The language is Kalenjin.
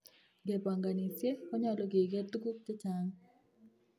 Ngebonkonisiie, konyolu keker tukuk chechaang�